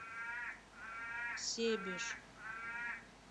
себеж